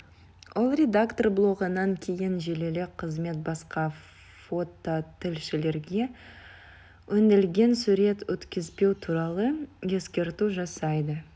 ал редактор блогынан кейін желілік қызмет басқа фототілшілерге өңделген сурет өткізбеу туралы ескерту жасайды